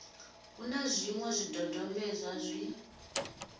hu na zwiṅwe zwidodombedzwa zwi